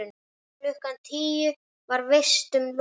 Klukkan tíu var vistum lokað.